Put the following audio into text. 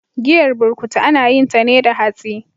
Giyar burkutu ana yinta ne da hatsi.